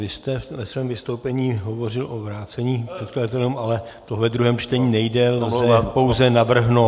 Vy jste ve svém vystoupení hovořil o vrácení předkladatelům, ale to ve druhém čtení nejde, lze pouze navrhnout...